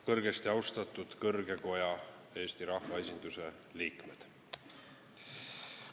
Kõrgesti austatud kõrge koja, Eesti rahvaesinduse liikmed!